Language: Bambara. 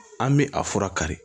An bi a fura kari